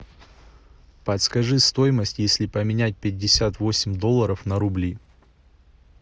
подскажи стоимость если поменять пятьдесят восемь долларов на рубли